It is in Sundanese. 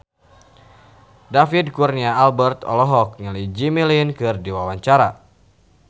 David Kurnia Albert olohok ningali Jimmy Lin keur diwawancara